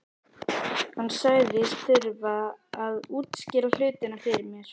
Hann sagðist þurfa að útskýra hlutina fyrir mér.